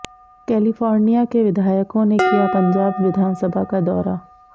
California के विधायकों ने किया पंजाब विधानसभा का दौरा